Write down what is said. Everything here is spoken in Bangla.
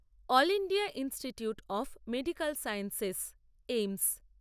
all India institute of medical sciences AIIMS